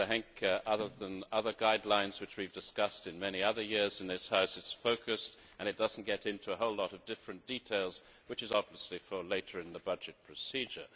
I think that, unlike the other guidelines which we have discussed over many others years in this House, it is focused and it does not get into a whole lot of different details, which are obviously to come later in the budget procedure.